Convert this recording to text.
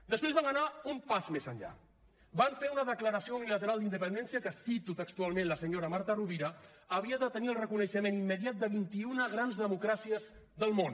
després van anar un pas més enllà van fer una declaració unilateral d’independència que cito textualment la senyora marta rovira havia de tenir el reconeixement immediat de vint i una grans democràcies del món